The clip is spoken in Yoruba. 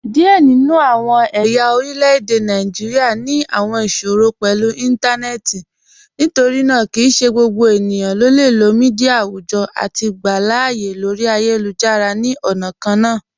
Diẹ ninu awọn ẹ̀ya orilẹ̀-èdè Nàìjíríà ni awọn iṣòrọ̀ pẹ̀lú intanẹẹti, nítorínaa kí í ṣẹ̀ gbogbo ènìyàn le lọ̀ míḍíà awùjọ́ awùjọ̀ àti gbà aláàyè lórí ayélujára ni ọna kànna.